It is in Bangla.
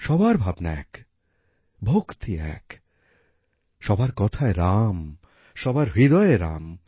সবার ভাবনা এক ভক্তি এক সবার কথায় রাম সবার হৃদয়ে রাম